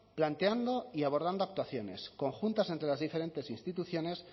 planteando y abordando actuaciones conjuntas entre las diferentes instituciones